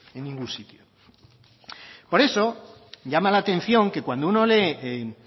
en ningún sitio por eso llama la atención que cuando uno lee